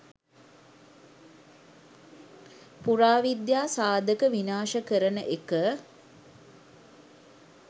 පුරාවිද්‍යා සාධක විනාශකරන එක